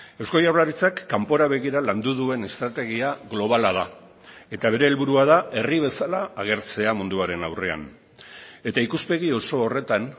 eusko jaurlaritzak kanpora begira landu duen estrategia globala da eta bere helburua da herri bezala agertzea munduaren aurrean eta ikuspegi oso horretan